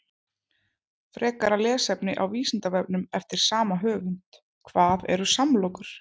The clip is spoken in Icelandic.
Frekara lesefni á Vísindavefnum eftir sama höfund: Hvað eru samlokur?